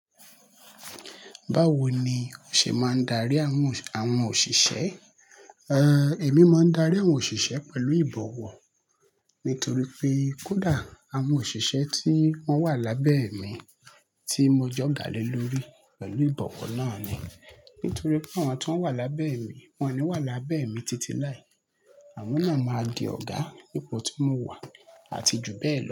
Báwo ni o ṣe máa ń darí àwọn, àwọn òṣìṣẹ́? Èmi máa ń darí àwọn òṣìṣẹ́ pẹ̀lú ìbọ̀wọ̀. Nítorí pé kódà àwọn òṣìṣẹ́ tí wọ́n wà lábẹ́ mi, tí mo j'ọ́gàá le lórí, pẹ̀lú ìbọ̀wọ̀ náà ni. Nítorí pé àwọn tán wà lábẹ́ mi, wọn ò ní wà lábẹ́ mi títí láì. Àwọn náà máa di ọ̀gá ipò tí mo wà àti jù bẹ́ẹ̀ lọ.